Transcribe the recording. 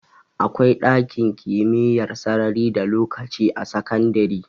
Akwai ɗakin kimiyyar sarari da lokaci a sakandare